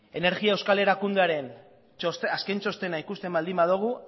energia euskal erakundearen azken txostena ikusten baldin badugu